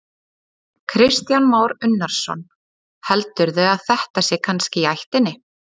Kristján Már Unnarsson: Heldurðu að þetta sé kannski í ættinni?